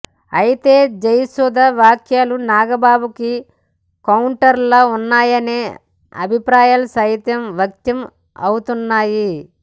అయితే జయసుధ వ్యాఖ్యలు నాగబాబుకు కౌంటర్లా ఉన్నాయనే అభిప్రాయాలు సైతం వ్యక్తం అవుతున్నాయి